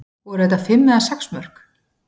Voru þetta fimm eða sex mörk?